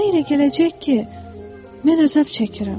Sənə elə gələcək ki, mən əzab çəkirəm.